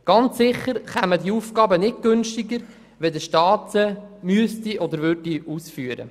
Ganz sicher wären diese nicht günstiger, wenn der Staat diese ausführen würde oder müsste.